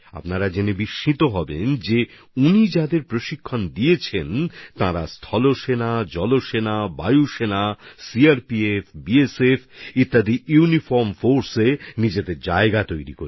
আপনারা এটা জেনে আশ্চর্য হবেন যে তিনি যেসব মানুষকে প্রশিক্ষিত করেছেন তাঁরা স্থলসেনা নৌসেনা বায়ুসেনা সিআরপিএফ বিএসএফএর মতো ইউনিফর্ম ফোর্সগুলোতে নিজেদের স্থান করে নিতে পেরেছেন